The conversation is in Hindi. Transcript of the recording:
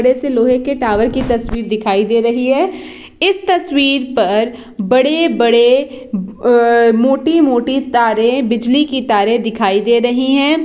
बड़े से लोहे की टावर की तस्वीर दिखाई दे रही है इस तस्वीर पर बड़े - बड़े अं मोटी - मोटी तारे बिजली की तारे दिखाई दे रही है।